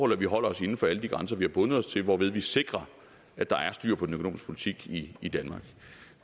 at vi holder os inden for alle de grænser vi har bundet os til hvorved vi sikrer at der er styr på den økonomiske politik i i danmark